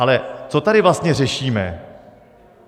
Ale co tady vlastně řešíme?